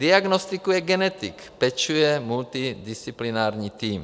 Diagnostikuje genetik, pečuje multidisciplinární tým.